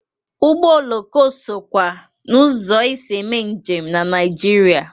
Ụgbọ oloko sokwa n'ụzọ e si eme njem na Naịjirịa.